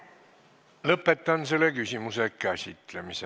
Lõpetan selle küsimuse käsitlemise.